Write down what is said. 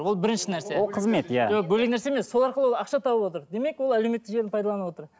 ол бірінші нәрсе ол қызмет иә бөлек нәрсе емес сол арқылы ақша тауып отыр демек ол әлеуметтік желіні пайдаланып отыр